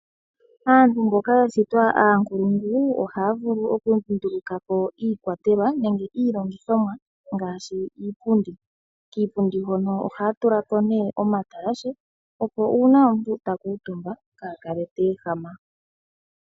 Aantu mboka yashitwa aakuluntu, ohaya vulu oku dhindhilika po iikwaletwa nenge iilongithomwa ngaashi iipundi. Kiipundi hono ohaya tulako nee oma talashe, opo uuna omuntu ta kuutumba kaakale teehama.